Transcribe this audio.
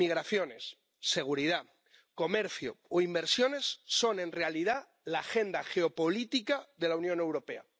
Migraciones, seguridad, comercio o inversiones son en realidad la agenda geopolítica de la Unión Europea.